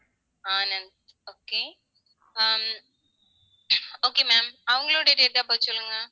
okay hmm okay ma'am அவங்களுடைய date of birth சொல்லுங்க